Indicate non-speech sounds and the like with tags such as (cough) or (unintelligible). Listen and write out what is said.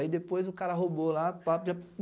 Aí, depois, o cara roubou lá. pá (unintelligible)